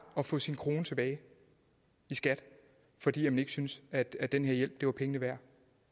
at få sin krone tilbage i skat fordi man ikke synes at at den her hjælp var pengene værd